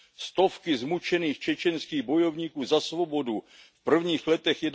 Stovky zmučených čečenských bojovníků za svobodu v prvních letech